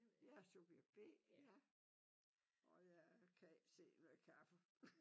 Jeg er subjekt B ja og jeg kan ikke se noget kaffe